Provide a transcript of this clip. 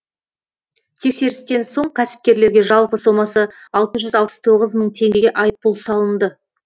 тексерістен соң кәсіпкерлерге жалпы сомасы алты жүз алпыс тоғыз мың теңгеге айыппұл салынды